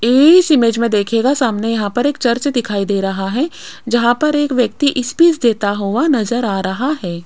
इस इमेज में देखिएगा सामने यहां पर एक चर्च दिखाई दे रहा है जहां पर एक व्यक्ति स्पीच देता हुआ नजर आ रहा है।